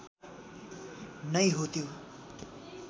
नै हो त्यो